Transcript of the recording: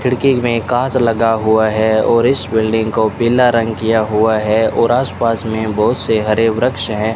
खिड़की में कांच लगा हुआ है और इस बिल्डिंग को पीला रंग किया हुआ है और आस पास में बहुत से हरे वृक्ष है।